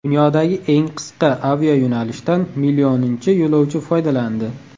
Dunyodagi eng qisqa aviayo‘nalishdan millioninchi yo‘lovchi foydalandi.